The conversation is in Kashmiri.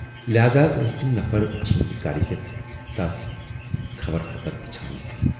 لہاذا ٲسۍ تِم نفر اسُند گرٕ یِتھ تس خبر اتر پرٕژھان۔